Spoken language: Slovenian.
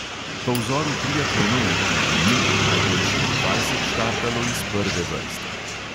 Po vzoru triatlonov v tujini bo najboljših dvajset štartalo iz prve vrste.